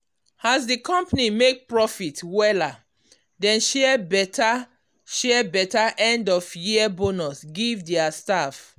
as the company make profit wella dem share better share better end-of-year bonus give their staff.